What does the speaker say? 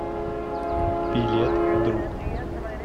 билет друг